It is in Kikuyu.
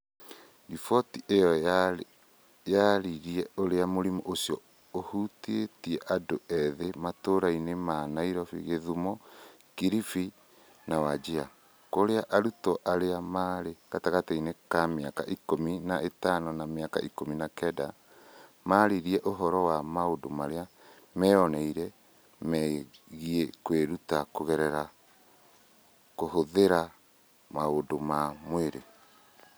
Riboti ĩyo yarĩrĩirie ũrĩa mũrimũ ũcio ũhutĩtie andũ ethĩ matũũra-inĩ ma Nairobi, gĩthumo, Kilifi na Wajir, kũrĩa arutwo arĩa marĩ gatagatĩ ka mĩaka ik ũmi na ĩtano na ik ũmi na kenda maaririe ũhoro wa maũndũ marĩa meyoneire megiĩ kwĩruta kũgerera kũhũthĩra maũndũ ma mwĩrĩ.